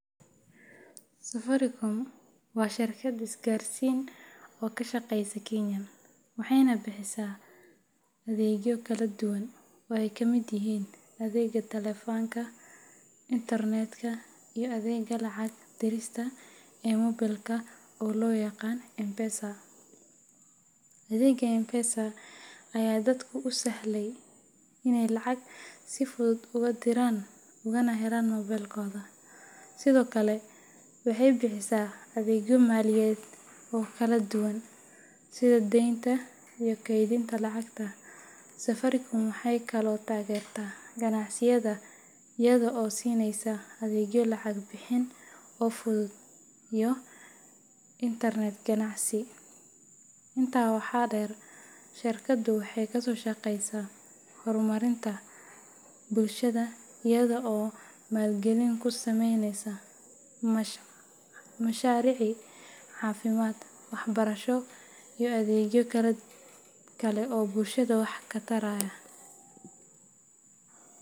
Safaricom waa shirkad isgaarsiin oo ka shaqeysa Kenya, waxayna bixisaa adeegyo kala duwan oo ay ka mid yihiin adeegga taleefanka, internetka, iyo adeegga lacag dirista ee moobilka oo loo yaqaan M-PESA. Adeegga M-PESA ayaa dadka u sahlaya inay lacag si fudud ugu diraan ugana helaan moobilkooda, sidoo kale waxay bixisaa adeegyo maaliyadeed oo kala duwan sida deynta iyo kaydinta lacagta. Safaricom waxay kaloo taageertaa ganacsiyada iyada oo siinaysa adeegyo lacag bixin oo fudud iyo internet ganacsi. Intaa waxaa dheer, shirkaddu waxay ka shaqeysaa horumarinta bulshada iyada oo maalgelin ku sameysa mashaariic caafimaad, waxbarasho, iyo adeegyo kale oo bulshada wax taraya.